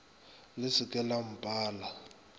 le se ke la mpala